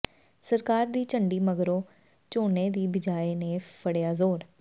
ਸਰਕਾਰ ਦੀ ਝੰਡੀ ਮਗਰੋਂ ਝੋਨੇ ਦੀ ਬਿਜਾਈ ਨੇ ਫੜਿਆ ਜ਼ੋਰ